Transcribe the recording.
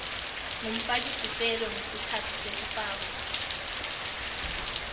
ngumfakisicelo ngesikhatsi sekufakwa